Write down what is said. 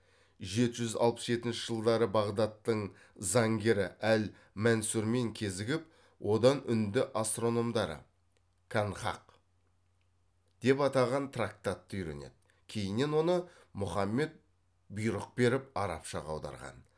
жеті жүз алпыс жетінші жылдары бағдаттың заңгері әл мәнсүрмен кезігіп одан үнді астрономдары канхақ деп атаған трактатты үйренеді кейіннен оны мұхаммед бұйрық беріп арабшаға аударған